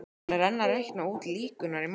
Hann er enn að reikna út líkurnar í máli